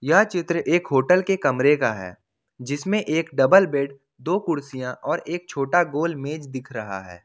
यह चित्र एक होटल के कमरे का है जिसमें एक डबल बेड दो कुर्सियां और एक छोटा गोल मेज दिख रहा है।